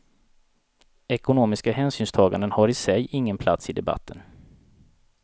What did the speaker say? Ekonomiska hänsynstaganden har i sig ingen plats i debatten.